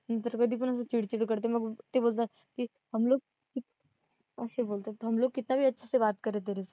मी तर कधी पण असं चीड चीड करते ना मग ते बोलतात कि हुमलोग कि, हमलोग कितना अच्छेसे बात कर रहे तेरेसे